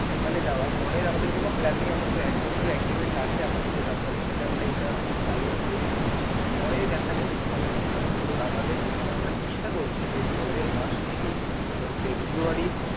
দেওয়ার পরের আমাদের কোনো plan অন্তত একবছর aggrement আছে আমাদের যে company এর সাথে আমরা এটা মানে tie up করেছি. পরে দেখা যাবে কিন্তু ধরুন আমাদের চেয়ে মানে আমরা চেষ্টা করছি যে পরের মাস থেকেই ধরুন February.